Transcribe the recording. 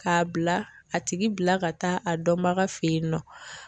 K'a bila a tigi bila ka taa a dɔnbaga fe yen nɔ